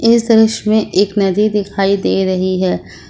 इस दृश्य में एक नदी दिखाई दे रही है।